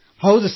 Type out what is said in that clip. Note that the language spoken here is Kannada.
ಹೌದು ಸರ್